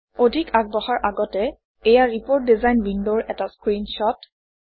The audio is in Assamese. অধিক আগবঢ়াৰ আগতে এইয়া ৰিপোৰ্ট ডিজাইন Window ৰ এটা স্ক্ৰীনশ্বট